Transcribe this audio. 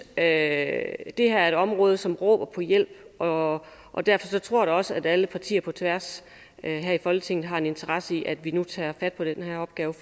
at det her er et område som råber på hjælp og og derfor tror jeg da også at alle partier på tværs her i folketinget har en interesse i at vi nu tager fat på den her opgave